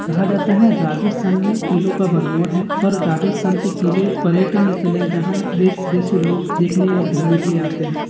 कहा जाता है राजस्थान मे किलो का भरमोर है और राजस्थान के किले पर्यटन स्थल हैं जहाँ देश विदेश के लोग देखने और घूमने के लिए आते है।